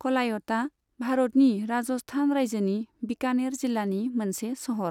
कलायतआ भारतनि राजस्थान रायजोनि बिकानेर जिलानि मोनसे सहर।